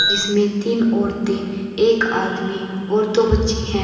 इसमें तीन औरतें एक आदमी और दो बच्चे हैं।